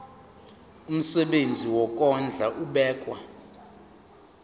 umsebenzi wokondla ubekwa